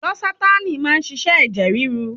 Losatánì má ń ṣiṣẹ́ ẹ̀jẹ̀ ríru.